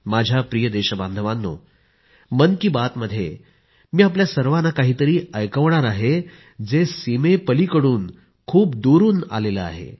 माझ्या प्रिय देशबांधवांनो मन की बात मध्ये मी आपल्या सर्वांना काही तरी ऐकवणार आहे जे सीमेपलीकडून खूप दुरून आलं आहे